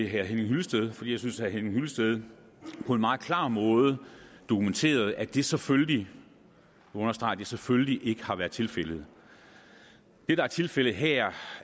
herre henning hyllested fordi jeg synes at herre henning hyllested på en meget klar måde dokumenterede at det selvfølgelig og jeg understreger selvfølgelig ikke har været tilfældet det der er tilfældet her